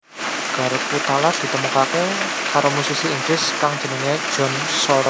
Garpu tala ditemokaké karo musisi Inggris kang jenengé John Shore